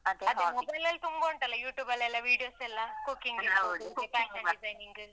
ಅದೇ mobile ಲಲ್ ತುಂಬ ಉಂಟಲ್ಲ Youtube ಲ್ಲೆಲ್ಲ videos ಎಲ್ಲ cooking ಇರ್ಬೋದು.